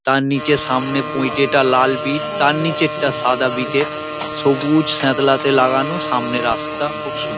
তার নিচে সামনে লাল বিট তার নিচেরটা সাদা বিট এর সবুজ সিত্লাতে লাগানো সামনে রাস্তা খুব সুন্দর।